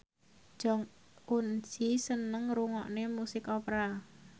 Jong Eun Ji seneng ngrungokne musik opera